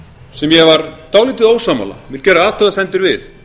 sem ég var dálítið ósammála og vil gera athugasemdir við